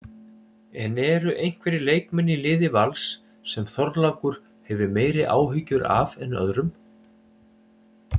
En eru einhverjir leikmenn í liði Vals sem Þorlákur hefur meiri áhyggjur af en öðrum?